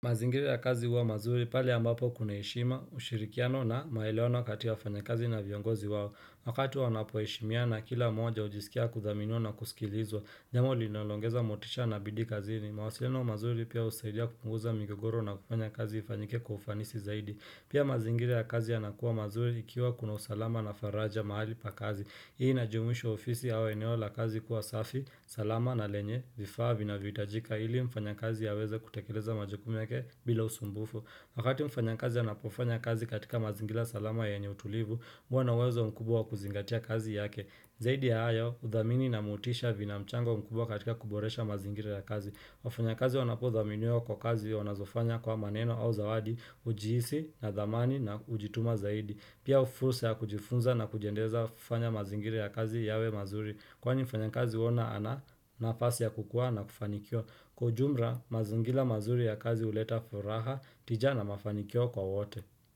Mazingira ya kazi huwa mazuri pale ambapo kuna heshima, ushirikiano na maelewano kati ya wafanyakazi na viongozi wao. Wakati wanapo heshimiana kila moja hujisikia kuthaminiwa na kusikilizwa. Jambo linaloongeza motisha na bidii kazini. Mawasiliano mazuri pia husaidia kupunguza migogoro na kufanya kazi ifanyike kwa ufanisi zaidi. Pia mazingira ya kazi yanakuwa mazuri ikiwa kuna usalama na faraja mahali pa kazi. Hii inajuimisha ofisi au eneo la kazi kuwa safi, salama na lenye, vifaa vinavyohitajika. Ili mfanyakazi aweze kutekeleza majukumu yake bila usumbufu. Wakati mfanyakazi anapofanya kazi katika mazingira salama yenye utulivu, huwa na uwezo mkubwa kuzingatia kazi yake. Zaidi ya hayo, uthamini na motisha vina mchango mkubwa katika kuboresha mazingira ya kazi. Wafanyakazi wanapothaminiwa kwa kazi wanazofanya kwa maneno au zawadi, hujihisi, na thamani, na kujituma zaidi. Pia fursa ya kujifunza na kujiendeleza hufanya mazingira ya kazi yawe mazuri. Kwani mfanyakazi huona ana nafasi ya kukua na kufanikiwa. Kwa ujumra, mazingila mazuri ya kazi huleta furaha tija na mafanikio kwa wote.